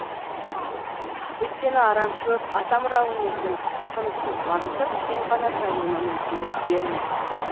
өйткені арамшөп атамұра өнердің тынысын тарылтып кең қанат жаюына мүмкіндік бермейді